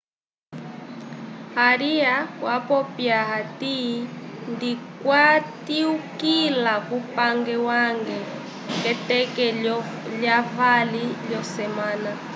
aria wapopya hati ndikatyukila kupange wange k'eteke lyavali lyosemana